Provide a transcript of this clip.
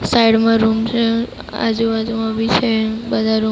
Side માં room છે. આજુ બાજુમાં બી છે બધા રૂમ .